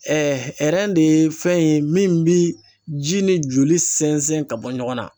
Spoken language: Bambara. de ye fɛn ye min bi ji ni joli sɛnsɛn ka bɔ ɲɔgɔn na.